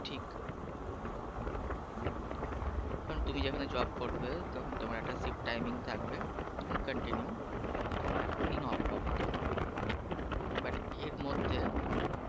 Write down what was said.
ঠিক. কারণ তুমি যেখানে job করবে তখন তোমার একটা shift timing থাকবে and continue একদিন off পাবে তুমি but এর মধ্যে